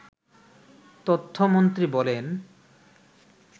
তথ্যমন্ত্রী বলেন